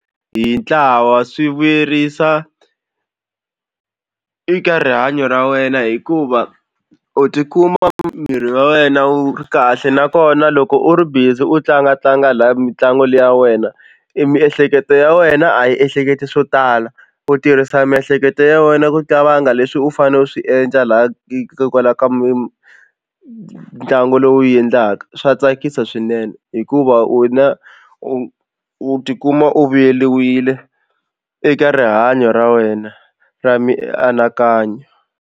Hi ntlawa swi vuyerisa eka rihanyo ra wena hikuva u tikuma miri wa wena wu ri kahle nakona loko u ri busy u tlangatlanga laya mitlangu leyi ya wena i miehleketo ya wena a yi ehleketi swo tala u tirhisa miehleketo ya wena ku qavanga leswi u fanele u swi endla laya hikokwalaho ka ntlangu lowu u wu endlaka swa tsakisa swinene hikuva u na u u tikuma u vuyeriwile eka rihanyo ra wena ra mianakanyo.